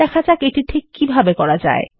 দেখা যাক এটি ঠিককিভাবে করা যায়